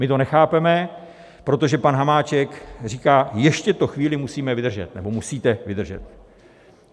My to nechápeme, protože pan Hamáček říká: Ještě to chvíli musíme vydržet nebo musíte vydržet.